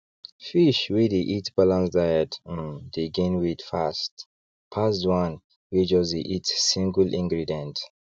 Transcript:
fish wey dey eat balance diet um dey gain weight fast pass the one one wey just dey eat singleingredients